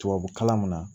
Tubabukalan min na